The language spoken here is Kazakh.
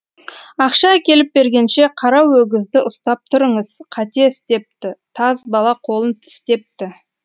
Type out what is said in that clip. ақша әкеліп бергенше қара өгізді ұстап тұрыңыз қате істепті таз бала қолын тістепті